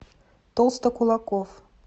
толстокулаков